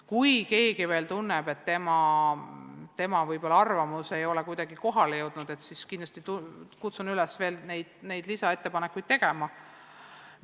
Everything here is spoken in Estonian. Kui keegi tunneb, et tema arvamus ei ole kohale jõudnud, siis kindlasti kutsun ma üles lisaettepanekuid tegema.